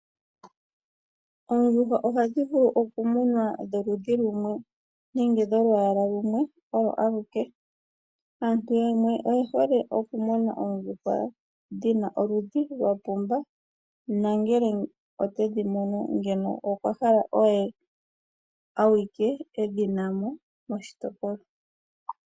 Oondjuhwa ohadhi valu okumunwa dholudhi lumwe, nenge dholwaala lumwe olo aluke, Aantu yamwe oye hole oku muna Oondjuhwa dhina oludhi lwapumba nongele otedhi munu ngeno okwahala aye awike edhinamo moshitopolwa.